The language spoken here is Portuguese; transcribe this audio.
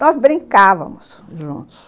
Nós brincávamos, juntos.